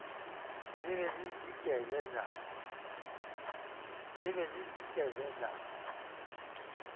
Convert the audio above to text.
le be le dikele na